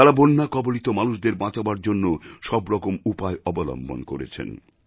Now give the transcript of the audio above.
তাঁরা বন্যাকবলিত মানুষদের বাঁচাবার জন্য সব রকম উপায় অবলম্বন করেছেন